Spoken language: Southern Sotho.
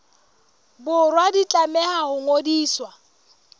borwa di tlameha ho ngodiswa